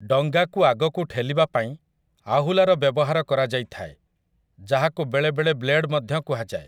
ଡଙ୍ଗାକୁ ଆଗକୁ ଠେଲିବା ପାଇଁ ଆହୁଲାର ବ୍ୟବହାର କରାଯାଇଥାଏ ଯାହାକୁ ବେଳେବେଳେ ବ୍ଲେଡ୍ ମଧ୍ୟ କୁହାଯାଏ ।